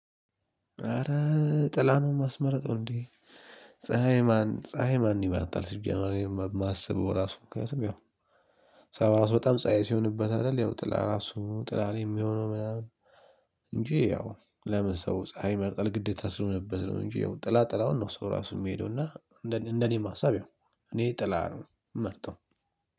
ኧረ ጥላ ነው ማስመረጠው እንዴ? ፀሀይ ማን ፀሀይ ማን ይመረጣል ሲጀመር እነ ማሰበው ራሱ ምክንያቱም ያው ራሱ በጣም ፀሀይ ሲሆንበት አይደል ያው ጥላ ራሱ ጥላ ላይ የሚሆነው ምናምን። እንጂ ያው ለምን ሰው ፀሀይ መርጠህ ለግዴታ ስሆንበት ነው እንጂ ያው ጥላ ጥላውን ነው ሰው ራሱ የሚሄደው። እንደኔ ማሰብ ያው እኔ ጥላ ነው ምመርጠው